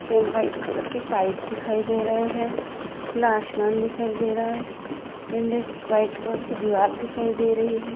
White colour की pipe दिखाई दे रहे है खुला आशमान दिखाई दे रहा है व्हाइट कलर की दीवार दिखाई दे रही है।